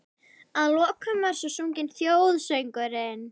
Að lokum var svo sunginn þjóðsöngurinn.